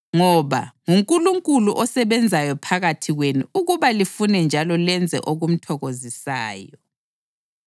ngoba nguNkulunkulu osebenzayo phakathi kwenu ukuba lifune njalo lenze okumthokozisayo.